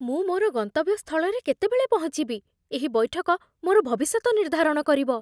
ମୁଁ ମୋର ଗନ୍ତବ୍ୟ ସ୍ଥଳରେ କେତେବେଳେ ପହଞ୍ଚିବି? ଏହି ବୈଠକ ମୋର ଭବିଷ୍ୟତ ନିର୍ଦ୍ଧାରଣ କରିବ।